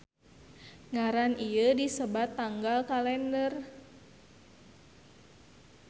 Ngaran ieu disebut tanggal kalender.